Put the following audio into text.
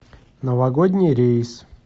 новогодний рейс